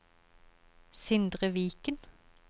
Sindre Viken